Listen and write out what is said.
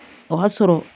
O y'a sɔrɔ